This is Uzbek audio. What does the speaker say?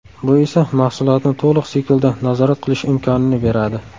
Bu esa mahsulotni to‘liq siklda nazorat qilish imkonini beradi.